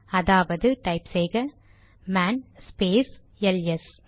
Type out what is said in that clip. அதாவது டைப் செய்க man space LS